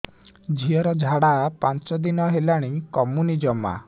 ଝିଅର ଝାଡା ପାଞ୍ଚ ଦିନ ହେଲାଣି କମୁନି ଜମା